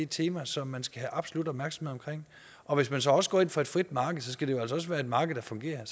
tema som man skal have absolut opmærksomhed om hvis man så også går ind for et frit marked skal det jo altså også være et marked der fungerer og